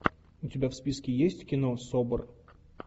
у тебя в списке есть кино собр